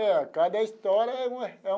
É, cada história é uma é.